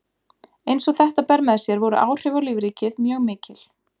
eins og þetta ber með sér voru áhrif á lífríkið mjög mikil